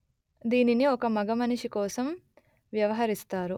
దీనిని ఒక మగమనిషి కోసం వ్యవహరిస్తారు